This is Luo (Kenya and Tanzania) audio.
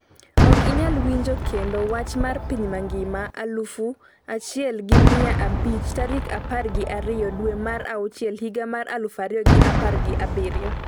Ok inyal winjo kendo wach mar piny mangima aluf achiel gi miya abich tarik apar gi ariyo dwe mar auchiel higa mar aluf ariyo gi apar gi abiriyo